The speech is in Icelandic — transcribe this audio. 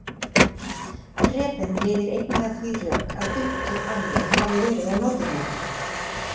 Preben leiðir einnig að því rök að upptök alveg hafi verið á Norðurlandi.